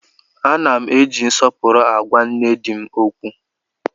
Ana m eji nsọpụrụ agwa nne di m okwu